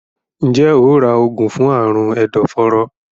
Njé óò rà oògùn fún Àrùn ẹdọforó?